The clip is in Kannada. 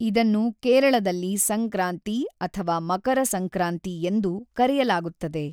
ಇದನ್ನು ಕೇರಳದಲ್ಲಿ ಸಂಕ್ರಾಂತಿ ಅಥವಾ ಮಕರ ಸಂಕ್ರಾಂತಿ ಎಂದು ಕರೆಯಲಾಗುತ್ತದೆ.